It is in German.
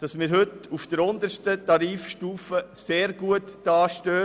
dass wir heute auf der untersten Tarifstufe sehr gut dastehen.